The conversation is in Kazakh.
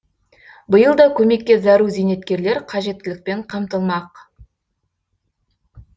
биыл да көмекке зәру зейнеткерлер қажеттілікпен қамтылмақ